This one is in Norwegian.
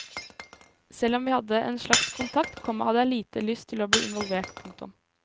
Selv om vi hadde en slags kontakt, komma hadde jeg lite lyst til å bli involvert. punktum